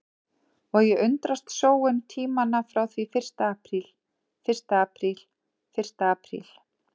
Og ég undrast sóun tímanna frá því fyrsta apríl fyrsta apríl fyrsta apríl.